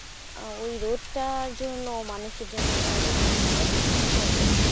আহ ওই রোদ টার জন্য মানুষের যেন এক মানে এক সমুদ্র অপেক্ষা।